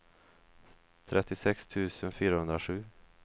trettiosex tusen fyrahundrasju